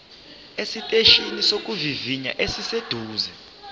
esiteshini sokuvivinya esiseduze